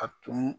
A tun